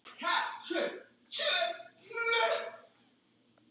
Lillý er dáin.